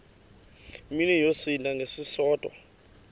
mini yosinda ngesisodwa